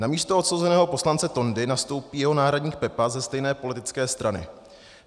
Na místo odsouzeného poslance Tondy nastoupí jeho náhradník Pepa ze stejné politické strany.